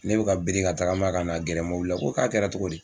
Ne bɛ ka biri ka tagama ka na gɛrɛ mɔbili la, o ko k'a kɛra cogo di ?